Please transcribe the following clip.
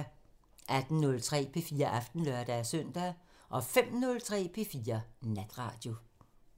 18:03: P4 Aften (lør-søn) 05:03: P4 Natradio